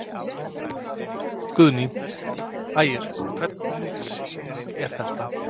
Guðný: Ægir, hvernig sýning er þetta?